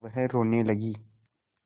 वह रोने लगी